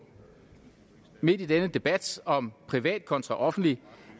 midt i denne debat om privat kontra offentlig